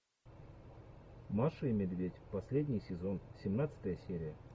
маша и медведь последний сезон семнадцатая серия